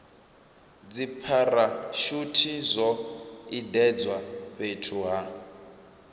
dzipharashuthi zwo iledzwa fhethu ha